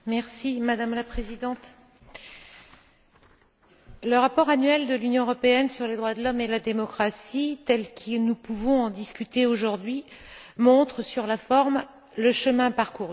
Madame la Présidente, le rapport annuel de l'Union européenne sur les droits de l'homme et la démocratie, tel que nous pouvons en discuter aujourd'hui, montre le chemin parcouru.